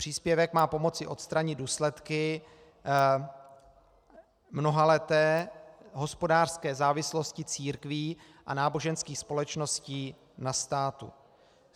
Příspěvek má pomoci odstranit důsledky mnohaleté hospodářské závislosti církví a náboženských společností na státu.